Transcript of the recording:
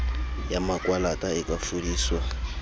ya makwalata e ka fodiswa